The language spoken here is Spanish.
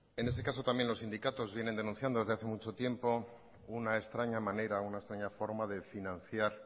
en este caso también los sindicatos vienen denunciando desde hace mucho tiempo una extraña manera una extraña forma de financiar